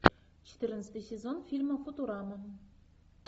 четырнадцатый сезон фильма футурама